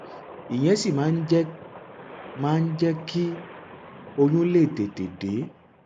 ìyẹn sì máa ń jẹ máa ń jẹ kí oyún lè tètè dé